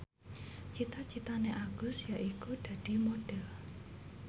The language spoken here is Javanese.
cita citane Agus yaiku dadi Modhel